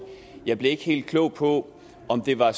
jeg blev nemlig ikke helt klog på om det var